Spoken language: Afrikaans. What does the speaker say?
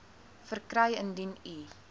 verkry indien u